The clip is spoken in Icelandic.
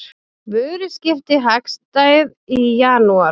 Vöruskipti hagstæð í janúar